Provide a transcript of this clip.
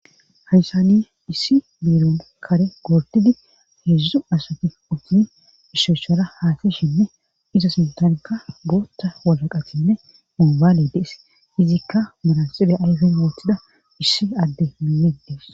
hayssani issi biiron kare gordidi heedzdzu asati utun ishochara haateshinne iza sintanka gootta walaqatinne mombaale dees hizikka malanxibe ayfen wootida issi adde mille dees